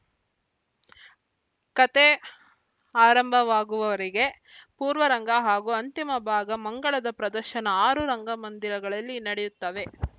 ಕಥೆ ಆರಂಭವಾಗುವವರೆಗೆ ಪೂರ್ವರಂಗ ಹಾಗೂ ಅಂತಿಮ ಭಾಗ ಮಂಗಳದ ಪ್ರದರ್ಶನ ಆರು ರಂಗಮಂದಿರಗಳಲ್ಲಿ ನಡೆಯುತ್ತವೆ